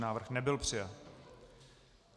Návrh nebyl přijat.